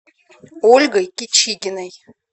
ольгой кичигиной